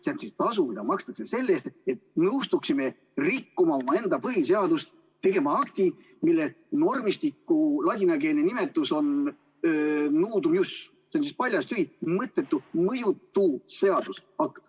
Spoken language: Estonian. See on tasu, mida makstakse selle eest, et nõustuksime rikkuma omaenda põhiseadust, tegema akti, mille normistiku ladinakeelne nimetus on nudum ius, see on paljas, tühi, mõttetu, mõjutu seadus.